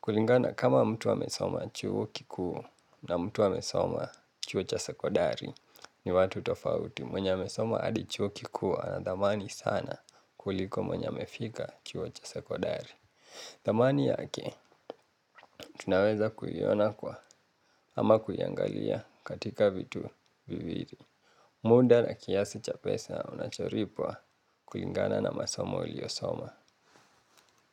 kulingana kama mtu amesoma chuo kikuu na mtu amesoma chuo cha sekondari ni watu tofauti mwenye amesoma hadi chuo kikuu ana dhamani sana kuliko mwenye amefika chuo cha sekondari. Thamani yake, tunaweza kuiona kwa ama kuiangalia katika vitu viwili muda na kiasi cha pesa unacholipwa kulingana na masomo uliosoma.